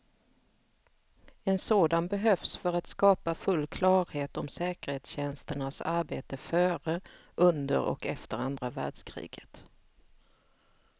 En sådan behövs för att skapa full klarhet om säkerhetstjänsternas arbete före, under och efter andra världskriget.